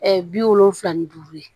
bi wolonfila ni duuru ye